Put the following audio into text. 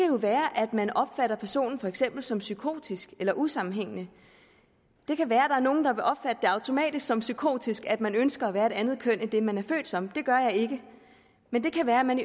jo være at man opfatter personen for eksempel som psykotisk eller usammenhængende det kan være er nogle der vil opfatte det automatisk som psykotisk at man ønsker at være et andet køn end det man er født som det gør jeg ikke men det kan være at man